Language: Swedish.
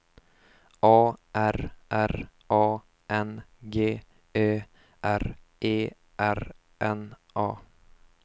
A R R A N G Ö R E R N A